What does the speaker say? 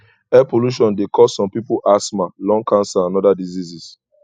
air polution de cause some pipo ashma lung cancer and other diseases